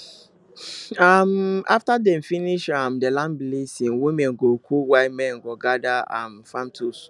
um after dem finish um the land blessing women go cook while men dey gather um farm tools